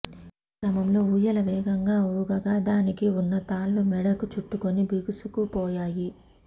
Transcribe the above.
ఈ క్రమంలో ఊయల వేగంగా ఊగగా దానికి ఉన్న తాళ్లు మెడకు చుట్టుకుని బిగుసుకు పోయాయి